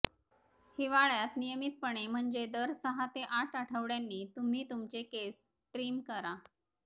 हिवाळ्यात नियमितपणे म्हणजे दर सहा ते आठ आठवड्यांनी तुम्ही तुमचे केस ट्रीम करा